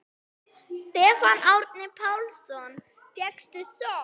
Stefán Árni Pálsson: Fékkstu sjokk?